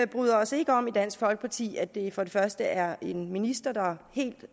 bryder os ikke om i dansk folkeparti at det for det første er en minister der helt